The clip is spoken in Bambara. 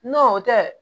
N'o tɛ